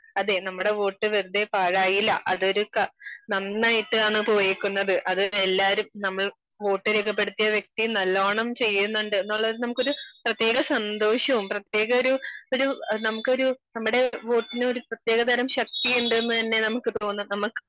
അതെ നമ്മുടെ വോട്ട് വെറുതെ പാഴായില്ല അതൊരു നന്നായിട്ട് ആണ് പോയേക്കുന്നത്. അത് എല്ലാരും നമ്മൾ വോട്ട് രേഖപ്പെടുത്തിയ വ്യക്തിയും നല്ലോണം ചെയ്യുന്നുണ്ട് എന്നുള്ളത് നമുക്കൊരു പ്രത്യേക സന്തോഷോം പ്രത്യേക ഒരു നമുക്കൊരു നമ്മുടെ വോട്ടിനു പ്രതേക തരം ശക്തി ഉണ്ടെന്നു തന്നെ നമുക്ക് തോന്നും നമുക്ക്